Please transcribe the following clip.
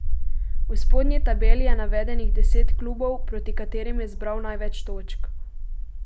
V spodnji tabeli je navedenih deset klubov, proti katerim je zbral največ točk.